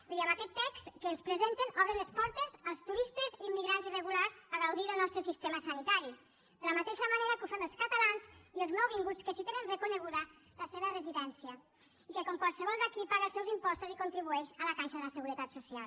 vull dir amb aquest text que ens presenten obren les portes als turistes immigrants irregulars a gaudir del nostre sistema sanitari de la mateixa manera que ho fem els catalans i els nouvinguts que sí que tenen reconeguda la seva residència i que com qualsevol d’aquí paga els seus impostos i contribueix a la caixa de la seguretat social